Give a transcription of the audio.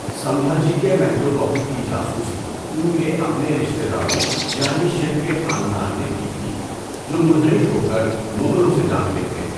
سمبھاجی کے محل وقوع کی جاسوسی ان کے اپنے رشتے داروں یعنی شِرکے خاندان نے کی تھی، جو منحرف ہو کر مغلوں سے جاملے تھے۔